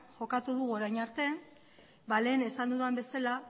jokatu dugu orain arte lehen esan dudan bezala